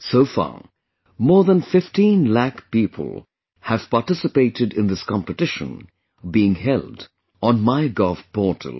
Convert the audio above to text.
So far, more than 15 lakh people have participated in this competition being held on MyGov portal